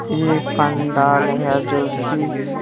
यह एक पंडाल है जो कि--